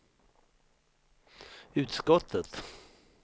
utskottet